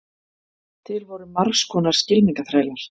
til voru margs konar skylmingaþrælar